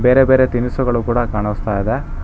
ಬೇರೆ ಬೇರೆ ತಿನಿಸುಗಳು ಕೂಡ ಕಾಣಿಸ್ತಾ ಇದೆ.